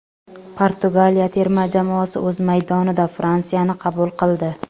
Portugaliya terma jamoasi o‘z maydonida Fransiyani qabul qildi.